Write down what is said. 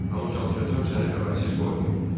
Amma çalışacağam səni xəbərsiz qoymayım.